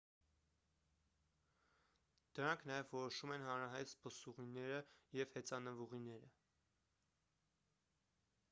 դրանք նաև որոշում են հանրահայտ զբոսուղիները և հեծանվուղիները